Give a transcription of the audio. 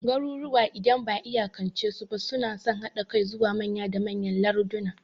Garuruwa, idan ba'a iyakance su ba, suna son haɗa kai zuwa manya da manyan larduna.